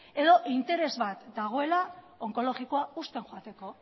edo interes bat dagoela onkologikoa husten joateko